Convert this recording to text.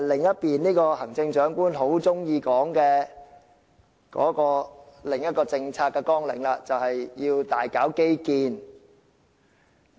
這便是行政長官很喜歡說的另一項政策綱領，即要大搞基建。